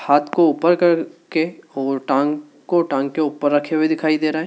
हाथ को ऊपर करके और टांग को टांग के ऊपर रखे हुए दिखाई दे रहे--